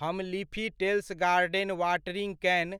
हम Leafy Tales garden watering कैन,